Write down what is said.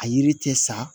A yiri cɛ sa